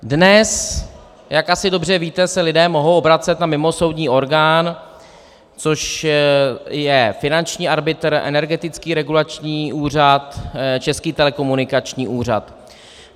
Dnes, jak asi dobře víte, se lidé mohou obracet na mimosoudní orgán, což je finanční arbitr, Energetický regulační úřad, Český telekomunikační úřad.